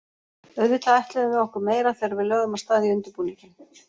Auðvitað ætluðum við okkur meira þegar við lögðum af stað í undirbúninginn.